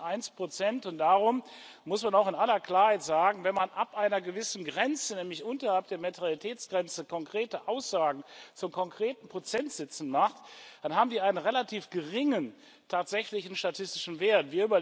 1 und darum muss man auch in aller Klarheit sagen, wenn man ab einer gewissen Grenze, nämlich unterhalb der Materialitätsgrenze konkrete Aussagen zu konkreten Prozentsätzen macht, dann haben die einen relativ geringen tatsächlichen statistischen Wert.